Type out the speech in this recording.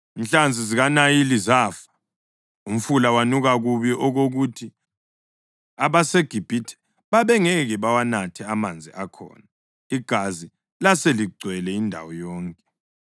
Inhlanzi zikaNayili zafa. Umfula wanuka kubi okokuthi abaseGibhithe babengeke bawanathe amanzi akhona. Igazi laseligcwele indawo yonke.